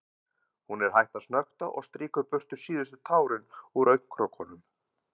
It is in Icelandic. Hún er hætt að snökta og strýkur burtu síðustu tárin úr augnakrókunum.